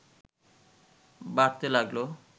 বাড়তে লাগল